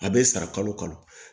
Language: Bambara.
A bɛ sara kalo kalo